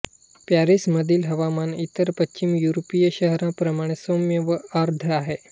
पॅरिसमधील हवामान इतर पश्चिम युरोपीय शहरांप्रमाणे सौम्य व आर्द्र आहे